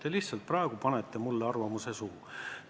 Te lihtsalt praegu panete mulle arvamuse suhu.